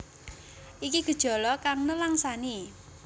Iki gejala kang nelangsani